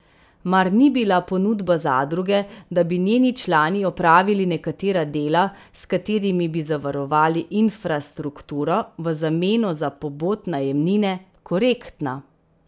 Mar ni bila ponudba zadruge, da bi njeni člani opravili nekatera dela, s katerimi bi zavarovali infrastrukturo v zameno za pobot najemnine, korektna?